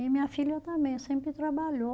E minha filha também, sempre trabalhou.